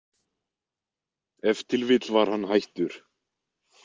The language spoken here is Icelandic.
Ef til vill var hann hættur.